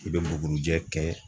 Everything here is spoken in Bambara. I be bugurijɛ kɛ